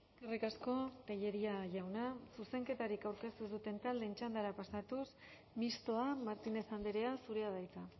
eskerrik asko tellería jauna zuzenketarik aurkeztu ez duten taldeen txandara pasatuz mistoa martínez andrea zurea da hitza